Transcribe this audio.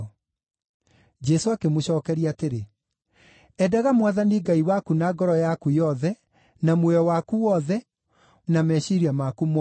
Jesũ akĩmũcookeria atĩrĩ, “ ‘Endaga Mwathani Ngai waku na ngoro yaku yothe, na muoyo waku wothe, na meciiria maku mothe.’